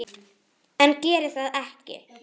En geri það ekki.